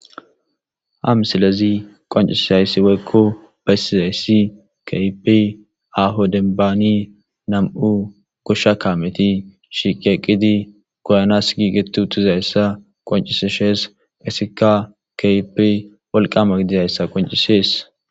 Hamsilezi qoncisizayssi weykko bessizayssi kaypi ahodenbaani nam7u goshsha kameti shiqeqqidi goyanas gi gettu utizayssa qonciseshees qiseka kayp walqama gidizayssa qoncisees.